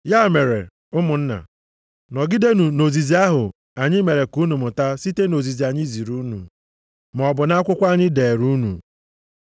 Ya mere, ụmụnna, nọgidenụ nʼozizi ahụ anyị mere ka unu mụta site nʼozizi anyị ziri unu, maọbụ na akwụkwọ anyị deere unu.